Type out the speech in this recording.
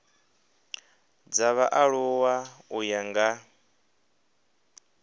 dza vhaaluwa u ya nga